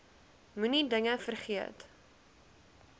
moenie dinge vergeet